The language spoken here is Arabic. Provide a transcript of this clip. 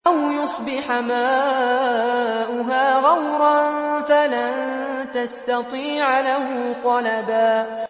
أَوْ يُصْبِحَ مَاؤُهَا غَوْرًا فَلَن تَسْتَطِيعَ لَهُ طَلَبًا